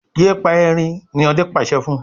yén pá ẹrin! ní Òde pàṣẹ fún.